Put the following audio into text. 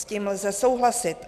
S tím lze souhlasit.